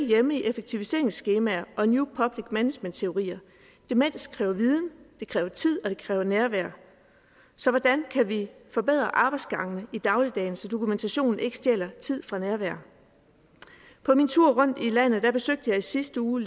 hjemme i effektiviseringsskemaer og new public management teorier demens kræver viden det kræver tid og det kræver nærvær så hvordan kan vi forbedre arbejdsgangene i dagligdagen så dokumentationen ikke stjæler tid fra nærvær på min tur rundt i landet besøgte jeg i sidste uge